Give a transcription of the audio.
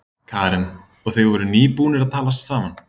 Karen: Og þið voruð nýbúnir að talast saman?